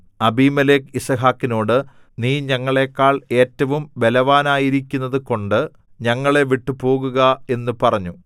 അബീമേലെക്ക് യിസ്ഹാക്കിനോട് നീ ഞങ്ങളെക്കാൾ ഏറ്റവും ബലവാനായിരിക്കുന്നത് കൊണ്ട് ഞങ്ങളെ വിട്ടുപോവുക എന്നു പറഞ്ഞു